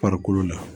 Farikolo la